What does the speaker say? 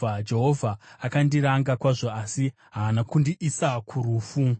Jehovha akandiranga kwazvo, asi haana kundiisa kurufu.